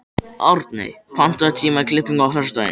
Árney, pantaðu tíma í klippingu á föstudaginn.